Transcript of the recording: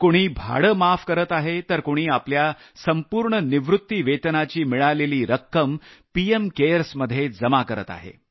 कुणी भाडं माफ करत आहे तर कुणी आपल्या संपूर्ण निवृत्तीवेतनाची मिळालेली रक्कम पीएम केअर्समध्ये जमा करत आहे